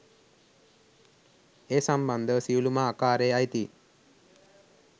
ඒ සම්බන්ධව සියළුම ආකාරයේ අයිතීන්